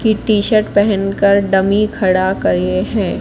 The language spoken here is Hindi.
की टी_शर्ट पहनकर डमी खड़ा करिए हैं।